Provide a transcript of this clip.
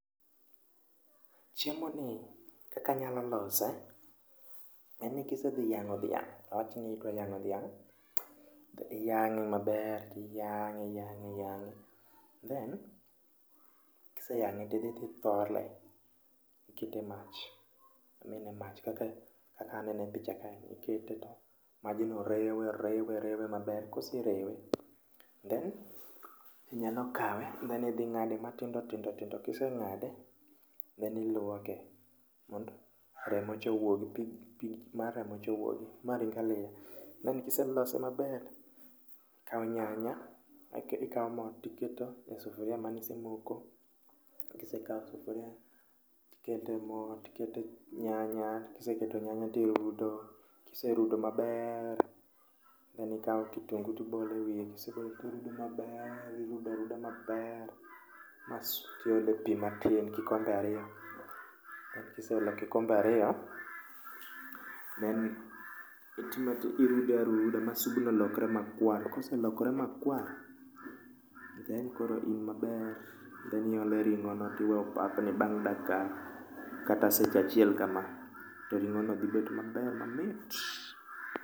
Chiemo ni kakanyalo lose, en ni kisedhi yang'o dhiang' awachni iiko yang'o dhiang'. Iyang'e maber tiyang'e iyang'e inyang'e. Then, kiseyang'e tidhi tithole, ikete mach, onene mach kaka anene picha ka ni. Ikete to majno rewe, rewe, rewe mber, koserewe then inyalo kawe then idhi ing'ade matindo tindo tindo. Kiseng'ade, then iluoke mond remo cha owuogi, pi mar remocha owuogi, ma ring aliya. Then kiselose maber, ikawo nyanya, ikawo mo tiketo e sufuria manisemoko. Kisekawo sufuria tikete mo tikete nyanya, kiseketo e nyanya tirudo. Kiserudo maber, then ikawo kitungu tibole wiye. Kisebolo tirude maber, irudo aruda maber ma su tiole pi matin kikombe ariyo. Ka kiseolo kikombe ariyo, then itima ti, irude aruda ma subno lokre makwar. To koselokre makwar, then koro in maber. Then iole ring'ono tiwe opapni bang' dakika kata seche achiel kama, to ring'o no dhi bet maber mamit.